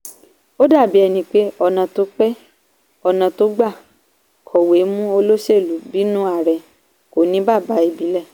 ó dàbí ẹni pé ọ̀nà tó pé ọ̀nà tó gbà ń kọ̀wé mú olóṣèlú bínúarẹ kò ní bàbá ìbílẹ̀.